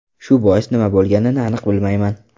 Shu bois nima bo‘lganini aniq bilmayman.